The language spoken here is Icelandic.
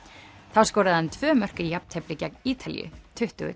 þá skoraði hann tvö mörk í jafntefli gegn Ítalíu tuttugu